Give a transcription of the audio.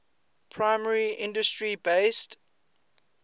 primary industry based